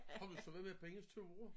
Har du så været med på Irinas ture